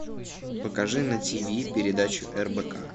покажи на тв передачу рбк